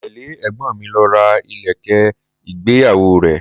Mo tẹle ẹ̀gbọ́n mi lọ ra ilẹ̀kẹ̀ ìgbéyàwó rẹ.